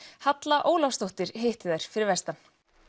Halla Ólafsdóttir hitti þær fyrir vestan